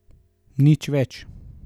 Nič več.